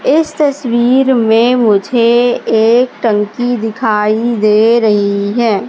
इस तस्वीर में मुझे एक टंकी दिखाई दे रही है।